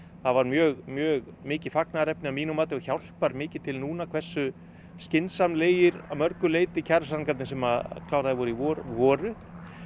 það var mjög mjög mikið fagnaðarefni að mínu mati og hjálpar mikið til núna hversu skynsamlegir að mörgu leyti kjarasamningar sem að kláraðir voru í vor voru